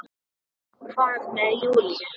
Hvað með Júlíu?